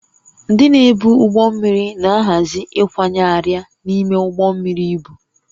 Ndị na-ebu ụgbọ mmiri na-ahazi ịkwanye arịa n'ime ụgbọ mmiri ibu